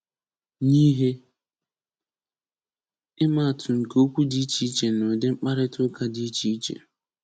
Nye ihe ịmaatụ nke okwu dị iche iche n'udi mkparịta ụka di iche iche.